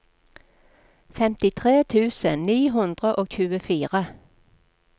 femtitre tusen ni hundre og tjuefire